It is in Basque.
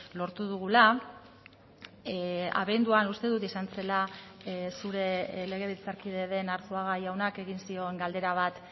lortu dugula abenduan uste dut izan zela zure legebiltzarkide den arzuaga jaunak egin zion galdera bat